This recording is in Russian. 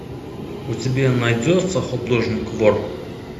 у тебя найдется художник вор